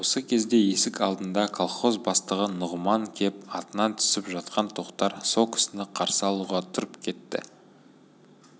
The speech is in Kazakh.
осы кезде есік алдына колхоз бастығы нұғыман кеп атынан түсіп жатқан тоқтар со кісіні қарсы алуға тұрып кетті